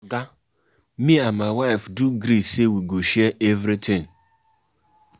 Oga me and my wife do gree say wey go share everytin.